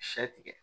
Sɛ tigɛ